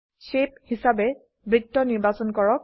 shape হিসাবে বৃত্ত নিৰ্বাচন কৰক